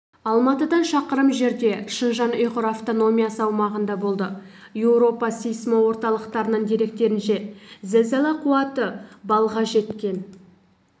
алматыдан шақырым жерде шыңжаң ұйғыр автономиясы аумағында болды еуропа сейсмо-орталықтарының деректерінше зілзала қуаты баллға жеткен